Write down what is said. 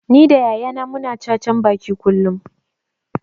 Ni da yaya na mu na cacan baki kullum